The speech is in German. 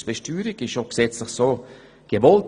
Das ist gesetzlich auch so gewollt.